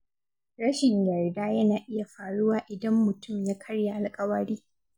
Rashin yarda yana iya faruwa idan mutum ya karya alƙawari.